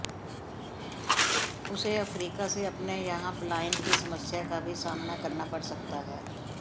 उसे अफ्रीका से अपने यहां पलायन की समस्या का भी सामना करना पड़ सकता है